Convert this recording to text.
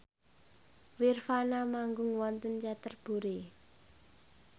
nirvana manggung wonten Canterbury